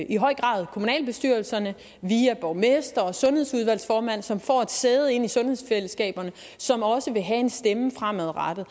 i høj grad kommunalbestyrelserne via borgmestre og sundhedsudvalgsformænd som får et sæde i sundhedsfællesskaberne og som også vil have en stemme fremadrettet